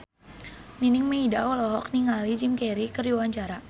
Nining Meida olohok ningali Jim Carey keur diwawancara